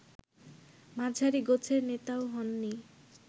মাঝারি গোছের নেতাও হননি